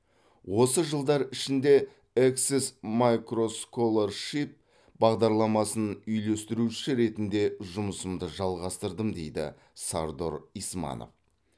осы жылдар ішінде эксес майкросколоршип бағдарламасын үйлестірушісі ретінде жұмысымды жалғастырдым дейді сардор исманов